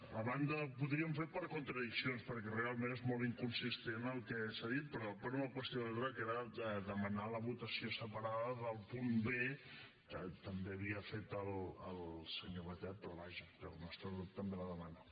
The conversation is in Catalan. a banda ho podríem fer per contradiccions perquè realment és molt inconsistent el que s’ha dit però per una qüestió d’ordre que era demanar la votació separada del punt b que també ho havia fet el senyor batet però vaja que el nostre grup també la demana